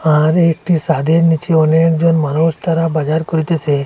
আর একটি সাদের নীচে অনেকজন মানুষ তারা বাজার করিতেসে।